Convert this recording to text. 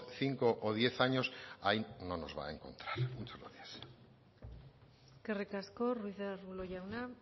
cinco o diez años ahí no nos va a encontrar muchas gracias eskerrik asko ruiz de arbulo jauna